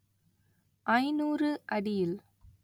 ஐநூறு அடியில்